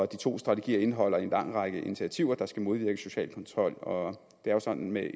to strategier indeholder en lang række initiativer der skal modvirke social kontrol og det er jo sådan med